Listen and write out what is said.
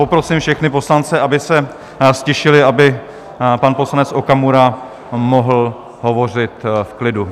Poprosím všechny poslance, aby se ztišili, aby pan poslanec Okamura mohl hovořit v klidu.